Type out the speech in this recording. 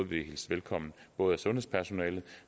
blive hilst velkommen af både sundhedspersonale